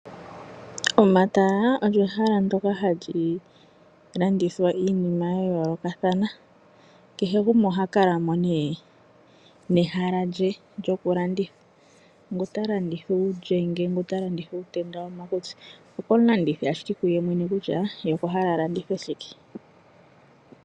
Omatala olyo ehala ndjoka ha li landuthwa iinima ya yoolokathana, kehe gumwe oha kalamo ne nehala lye lyoku landitha. Ngu ta landiths uulyenge, ngu ta landitha uutenda womo makutsi, oko mu landithi yemwene ta hogolola kutya, ye okwa hala alandithe shike.